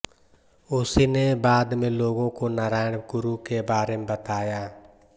उसीने बाद में लोगों को नारायण गुरु के बारे में बताया